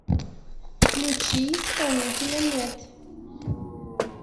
включи исполнителя мэт